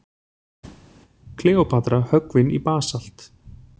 Kleópatra höggvin í basalt.